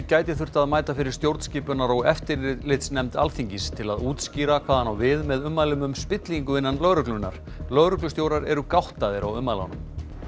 gæti þurft að mæta fyrir stjórnskipunar og eftirlitsnefnd Alþingis til að útskýra hvað hann á við með ummælum um spillingu innan lögreglunnar lögreglustjórar eru gáttaðir á ummælunum